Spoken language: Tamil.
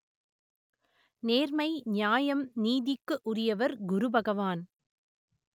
நேர்மை நியாயம் நீதிக்கு உரியவர் குருபகவான்